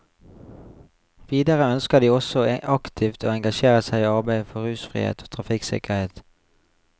Videre ønsker de også aktivt å engasjere seg i arbeidet for rusfrihet og trafikksikkerhet.